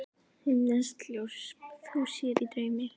Himneskt ljós þú sér í draumi.